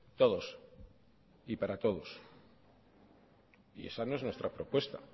todos y para todos y esa no es nuestra propuesta